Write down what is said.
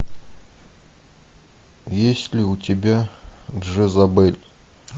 есть ли у тебя джезабель